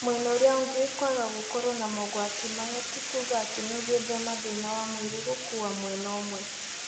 Mwena ũrĩa ũngĩ, kwaga gũkorwo na mogwati maya ti kuga atĩ nĩugwĩthema thĩna wa mwĩrĩ gũkua mwena ũmwe